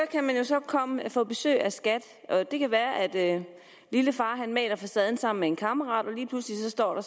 få besøg af skat og det kan være at lillefar maler facaden sammen med en kammerat og lige pludselig står